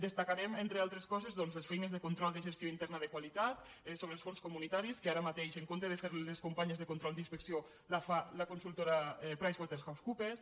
destacarem entre altres coses doncs les feines de control de gestió interna de qualitat sobre els fons comunitaris que ara mateix en comptes de fer les les companyes de control i inspecció les fa la consultora pricewaterhousecoopers